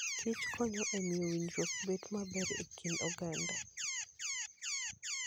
Kich konyo e miyo winjruok bedo maber e kind oganda